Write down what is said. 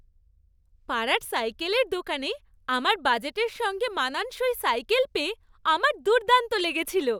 পাড়ার সাইকেলের দোকানে আমার বাজেটের সঙ্গে মানানসই সাইকেল পেয়ে আমার দুর্দান্ত লেগেছিল।